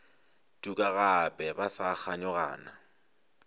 tuka gape ba sa kganyogana